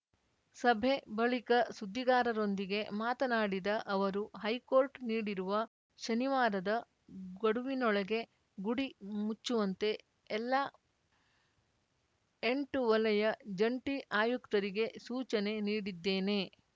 ಸಭೆ ಬಳಿಕ ಸುದ್ದಿಗಾರರೊಂದಿಗೆ ಮಾತನಾಡಿದ ಅವರು ಹೈಕೋರ್ಟ್‌ ನೀಡಿರುವ ಶನಿವಾರದ ಗಡುವಿನೊಳಗೆ ಗುಡಿ ಮುಚ್ಚುವಂತೆ ಎಲ್ಲಾ ಎಂಟು ವಲಯ ಜಂಟಿ ಆಯುಕ್ತರಿಗೆ ಸೂಚನೆ ನೀಡಿದ್ದೇನೆ